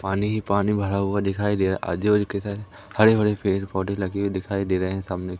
पानी ही पानी भरा हुआ दिखाई दे रहा आजु-बाजू के सारे हरे-भरे पेड़-पोधै लगे हुए दिखाई दे रहे हैं सामने --